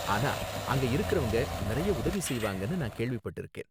ஆனா, அங்க இருக்கறவங்க நிறைய உதவி செய்வாங்கனு நான் கேள்விப்பட்டிருக்கேன்.